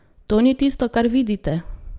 To ni tisto, kar vidite!